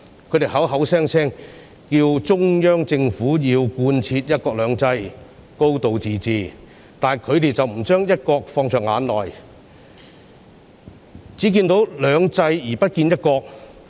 他們口口聲聲要求中央政府貫徹"一國兩制"、"高度自治"，但他們卻不把"一國"放在眼內，只看到"兩制"而不見"一國"。